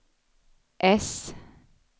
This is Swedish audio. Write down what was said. S